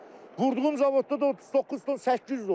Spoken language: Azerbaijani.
Vurduğum zavodda da 39 ton 800 olub.